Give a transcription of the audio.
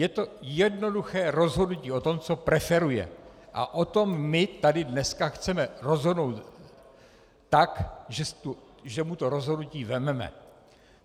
Je to jednoduché rozhodnutí o tom, co preferuje, a o tom my tady dneska chceme rozhodnout tak, že mu to rozhodnutí vezmeme.